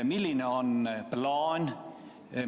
Millised on plaanid?